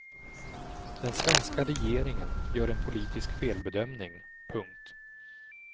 Den svenska regeringen gör en politisk felbedömning. punkt